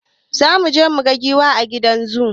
Zamuje muga giwa a gidan zu